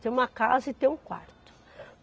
Ter uma casa e ter um quarto.